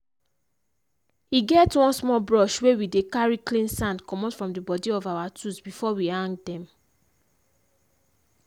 e get one small brush wey we dey carry clean sand commot from the body of our tools before we hang them.